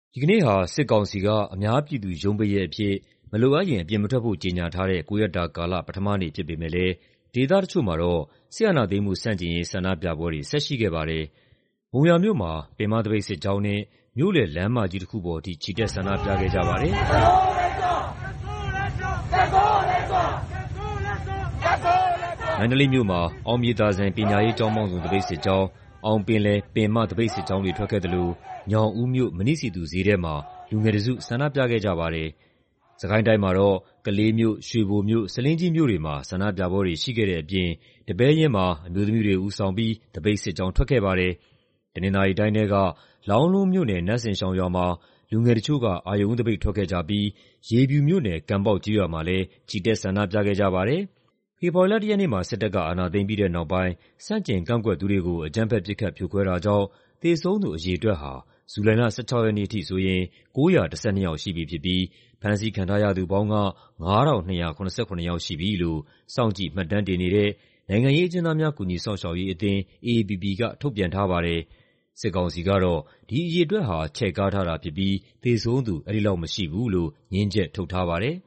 ဒီကနေ့ဟာ စစ်ကောင်စီက အများပြည်သူရုံးပိတ်ရက်အဖြစ် မလိုအပ်ရင် အပြင်မထွက်ဖို့ ကြေညာထားတဲ့ ၉ ရက်တာကာလ ပထမနေ့ ဖြစ်ပေမယ့်လည်း ဒေသတချို့မှာတော့ စစ်အာဏာသိမ်းမှုဆန့်ကျင်ရေး ဆန္ဒပြပွဲတွေ ဆက်ရှိခဲ့ပါတယ်။ မုံရွာမြို့မှာ ပင်မသပိတ်စစ်ကြောင်းနဲ့ မြို့လယ်လမ်းမကြီးတခုပေါ်ထိ ချီတက် ဆန္ဒပြခဲ့ကြပါတယ်။ မန္တလေးမြို့မှာ အောင်မြေသာစံ ပညာရေး ကျောင်းပေါင်းစုံ သပိတ်စစ်ကြောင်း၊ အောင်ပင်လယ် ပင်မသပိတ်စစ်ကြောင်းတွေ ထွက်ခဲ့သလို ညောင်ဦးမြို့၊ မဏိစည်သူဈေးထဲမှာ လူငယ်တစု ဆန္ဒပြခဲ့ကြပါတယ်။ စစ်ကိုင်းတိုင်းမှာတော့ ကလေးမြို့၊ ရွှေဘိုမြို့၊ ဆားလင်းကြီးမြို့တွေမှာ ဆန္ဒပြပွဲတွေ ရှိခဲ့တဲ့အပြင် ဒီပဲယင်းမှာ အမျိုးသမီးတွေဦးဆောင်ပြီး သပိတ်စစ်ကြောင်း ထွက်ခဲ့ပါတယ်။ တနင်္သာရီတိုင်းထဲက လောင်းလုံးမြို့နယ်၊ နတ်စင်ရှောင်ရွာမှာ လူငယ်တချို့က အရုဏ်ဦးသပိတ် ထွက်ခဲ့ကြပြီး ရေဖြူမြို့နယ်၊ ကန်ပေါက်ကျေးရွာမှာလည်း ချီတက် ဆန္ဒပြခဲ့ကြပါတယ်။ ဖေဖော်ဝါရီလ ၁ ရက်နေ့မှာ စစ်တပ်က အာဏာသိမ်းပြီးတဲ့နောက်ပိုင်း ဆန့်ကျင်ကန့်ကွက်သူတွေကို အကြမ်းဖက် ပစ်ခတ် ဖြိုခွဲတာကြောင့် သေဆုံးသူ အရေအတွက်ဟာ ဇူလိုင်လ ၁၆ ရက်နေ့အထိဆိုရင် ၉၁၂ ယောက် ရှိပြီဖြစ်ပြီး ဖမ်းဆီးခံထားရသူပေါင်းက ၅,၂၇၇ ယောက်ရှိပြီလို့ စောင့်ကြည့်မှတ်တမ်းတင်နေတဲ့ နိုင်ငံရေးအကျဉ်းသားများ ကူညီစောင့်ရှောက်ရေးအသင်း (AAPP) က ထုတ်ပြန်ထားပါတယ်။ စစ်ကောင်စီကတော့ ဒီအရေအတွက်ဟာ ချဲ့ကားထားတာဖြစ်ပြီး သေဆုံးသူ အဲဒီလောက်မရှိဘူးလို့ ငြင်းချက်ထုတ်ထားပါတယ်